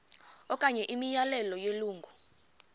okanye imiyalelo yelungu